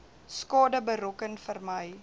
skade berokken vermy